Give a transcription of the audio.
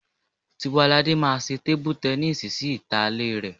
Tiwaladé máa ṣe tébú tẹníìsì sí ìta ilé rẹ